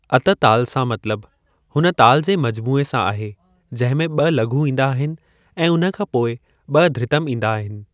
अत-ताल सां मतलबु हुन तालनि जे मजमूए सां आहे जंहिं में ॿ लघु ईंदा आहिनि ऐं उन्हे खां पोइ ॿ धृतम ईंदा आहिनि।